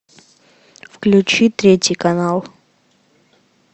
включи третий канал